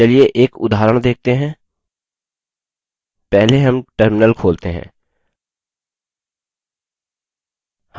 चलिए एक उदाहरण देखते हैं पहले हम terminal खोलते हैं